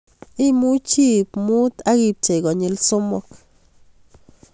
Imuchi iib muut ak ipchei konyil somok